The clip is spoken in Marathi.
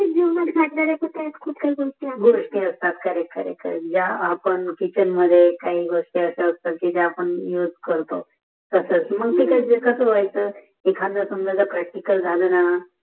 शिकण्य सारखी खूप सर्या गोष्टीघोस्ती असतात खरे खरे गया आपण किचन मध्ये काही घोस्ती असतात ज्या आपण कौज करतो तसाच माजे जे कशे वायेचे एकादी जाले ना